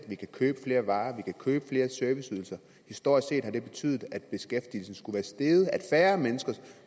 vi kan købe flere varer vi kan købe flere serviceydelser historisk set har det betydet at beskæftigelsen skulle være steget at færre mennesker